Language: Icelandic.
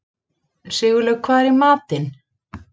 Sigurlaug, hvað er í matinn?